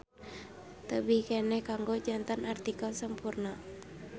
Tebih keneh kanggo janten artikel sampurna.